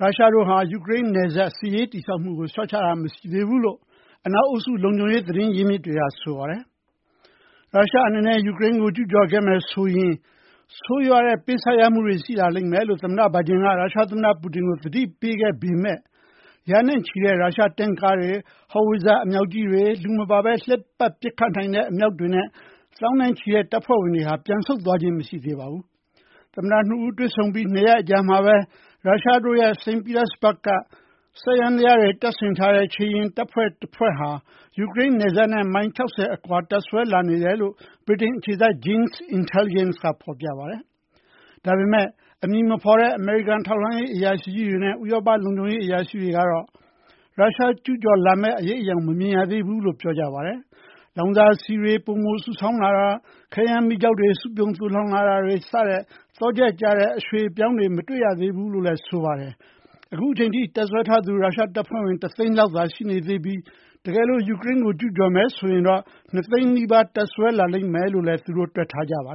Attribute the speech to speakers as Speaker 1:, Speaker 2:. Speaker 1: ရုရှားတို့ဟာ ယူကရိန်းနယ်စပ် စစ်ရေး တည်ဆောက်မှုကို လျှော့ချတာ မရှိသေးဘူးလို့ အနောက် အုပ်စု လုံခြုံရေး သတင်းရင်းမြစ်တွေက ဆိုပါတယ်။ ရုရှား အနေနဲ့ ယူကရိန်းကို ကျူးကျော်ခဲ့ရင် ဆိုးရွားတဲ့ ပေးဆပ်ရမှုတွေ ရှိလာလိမ့်မယ်လို့ သမ္မတ Biden က ရုရှား သမ္မတ Putin ကို သတိပေးခဲ့ပေမဲ့ ရာနဲ့ချီတဲ့ ရုရှား တင့်ကားတွေ၊ howitzer အမြောက်ကြီးတွေ၊ လူမပါဘဲ လှည့်ပတ် ပစ်ခတ်နိုင်တဲ့ အမြောက်တွေနဲ့ သောင်းနဲ့ချီတဲ့ တပ်ဖွဲ့ဝင်တွေဟာ ပြန်ဆုတ်သွားခြင်း မရှိသေးပါဘူး။ သမ္မတ နှစ်ဦး တွေ့ဆုံပြီး ၂ ရက်အကြာမှာဘဲ ရုရှားရဲ့ စိန့်ပီတာစဘာဂ့်မြို့က စက်ယန္တရားတွေ တပ်ဆင်ထားတဲ့ ခြေလျင်တပ်ဖွဲ့တွေဟာ ယူကရိန်း နယ်စပ်နဲ့ မိုင် ၆၀ အကွာမှာ တပ်စွဲလာတယ်လို့ ဗြိတိန် အခြေစိုက် Janes Intelligence ကုမ္ပဏီက ဖော်ပြပါတယ်။ ဒါပေမဲ့ အမည်မဖော်တဲ့ အမေရိကန် ထောက်လှမ်းရေး အရာရှိတွေနဲ့ ဥရောပ လုံခြုံရေး အရာရှိတွေကတော့ ရုရှား အနေနဲ့ ကျူးကျော်မဲ့ အရိပ်အယောင် မမြင်ရသေးဘူးလို့ ပြောကြပါတယ်။ လောင်စာဆီတွေ ပိုမိုစုဆောင်းတာ၊ ခဲယမ်းမီးကျောက် စုပြုံ သိုလှောင်တာတွေလို သော့ချက်ကျတဲ့ အရွှေ့အပြောင်းတွေ မတွေ့ရသေးဘူးလို့လည်း ဆိုပါတယ်။ အခုအချိန်ထိ တပ်စွဲထားသူ ရုရှား တပ်ဖွဲ့ဝင် ၁ သိန်းအောက်သာ ရှိနေသေးပြီး တကယ်လို့ ယူကရိန်းကို ကျူးကျော်မယ် ဆိုရင်တော့ ၂ သိန်း နီးပါး တပ်စွဲထားလိမ့်မယ်လို့လည်း တွက်ထားကြပါ